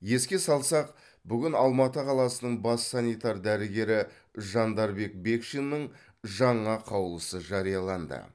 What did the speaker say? еске салсақ бүгін алматы қаласының бас санитар дәрігері жандарбек бекшиннің жаңа қаулысы жарияланды